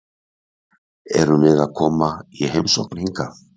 Erum við að koma í heimsókn hingað?